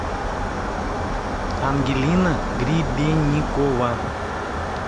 ангелина гребенникова